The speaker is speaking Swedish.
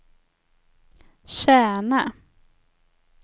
Kärna